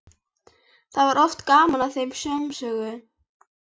Það var oft gaman að þeim samsöng.